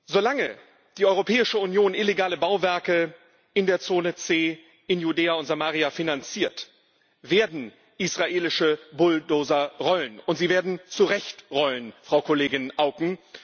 Solange die Europäische Union illegale Bauwerke in der Zone C in Judäa und Samaria finanziert, werden israelische Bulldozer rollen und sie werden zu Recht rollen, Frau Kollegin Auken.